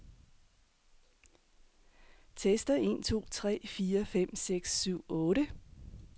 Tester en to tre fire fem seks syv otte.